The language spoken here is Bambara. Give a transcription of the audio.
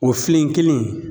O filen kelen